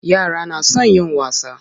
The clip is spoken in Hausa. Yara na son yin wasa.